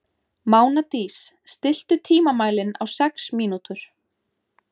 Mánadís, stilltu tímamælinn á sex mínútur.